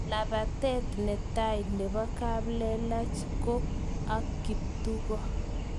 Lapatet netai nebo kaplelach ko ak kaptuko